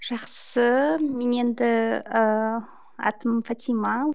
жақсы мен енді ыыы атым фатима